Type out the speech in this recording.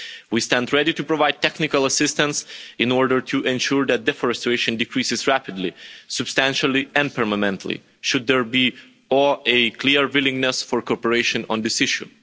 We stand ready to provide technical assistance in order to ensure that deforestation decreases rapidly, substantially and permanently should there be a clear willingness for cooperation on this issue.